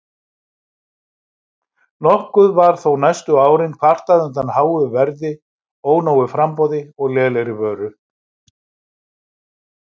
Nokkuð var þó næstu árin kvartað undan háu verði, ónógu framboði og lélegri vöru.